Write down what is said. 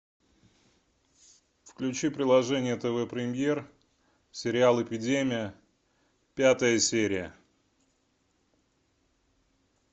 включи приложение тв премьер сериал эпидемия пятая серия